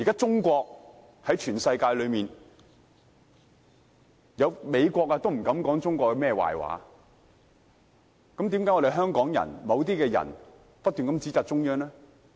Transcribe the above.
現時連美國也不敢說中國的壞話，為何某些香港人卻不斷在指摘中央？